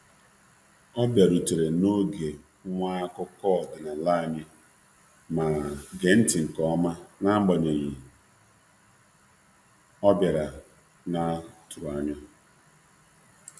Ọ bịarutere n'oge awa akụkọ ọdịnala um anyị ma um gee ma um gee ntị um nke ọma n'agbanyeghị ọbiara naa tụrụanya.